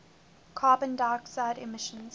carbon dioxide emissions